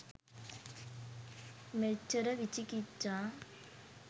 මෙච්චර විචිකිච්ඡා